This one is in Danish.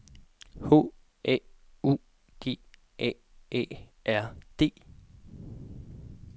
H A U G A A R D